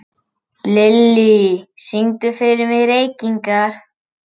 Lilly, syngdu fyrir mig „Reykingar“.